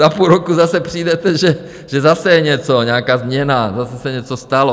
Za půl roku zase přijdete, že zase je něco, nějaká změna, zase se něco stalo.